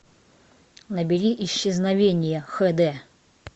набери исчезновение хэ дэ